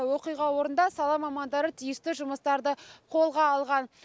оқиға орнында сала мамандары тиісті жұмыстарды қолға алған